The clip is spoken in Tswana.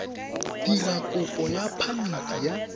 dira kopo ya phamiti ya